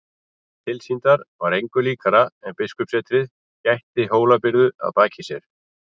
Tilsýndar var engu líkara en biskupssetrið gætti Hólabyrðu að baki sér.